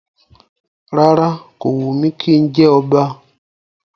Rárá, kò wù mí kí n jẹ ọba